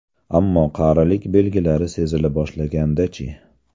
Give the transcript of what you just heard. Ammo qarilik belgilari sezila boshlaganda-chi?